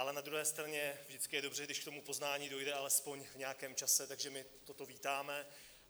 Ale na druhé straně vždycky je dobře, když k tomu poznání dojde alespoň v nějakém čase, takže my toto vítáme.